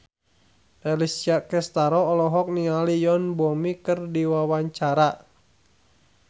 Alessia Cestaro olohok ningali Yoon Bomi keur diwawancara